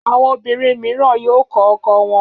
Àwọn obìnrin mìíràn yóò kọ ọkọ wọn.